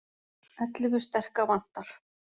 Ellefu sterka vantar